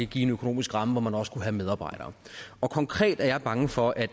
give en økonomisk ramme hvor man også kunne have medarbejdere konkret er jeg bange for at